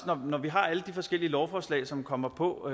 når vi har alle de forskellige lovforslag som kommer på